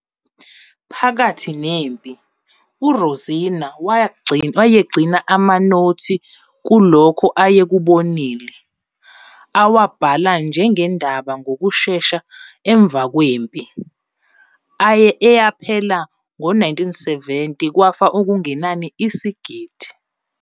Phakathi nempi, uRosina wayegcina amanothi kulokho ayekubonile, awabhala njengendaba ngokushesha ngemva kwempi, eyaphela ngo-1970 kwafa okungenani isigidi.